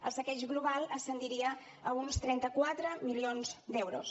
el saqueig global ascendiria a uns trenta quatre milions d’euros